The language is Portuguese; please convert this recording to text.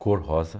Cor rosa.